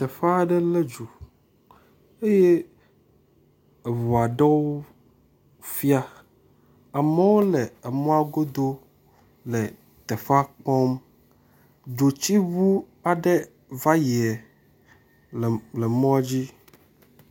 Teƒe aɖe lé dzo eye ŋu aɖewo fia, amewo le mɔa godo le teƒea kpɔm. Dzotsiŋu aɖe va yi le mɔa dzi.